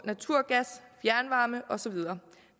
naturgas fjernvarme og så videre